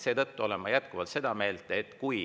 Seetõttu olen ma jätkuvalt seda meelt, et kui